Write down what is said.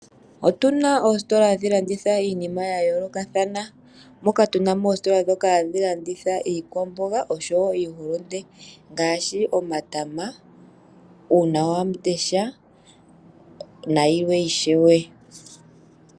Otuna oositola hadhi landitha iinima yayoolokathana, moka tunamo oositola dhoka hadhi landitha iikwamboga osho wo iihulunde ngaashi omatama, uunawamundesha nayilwe ishewe.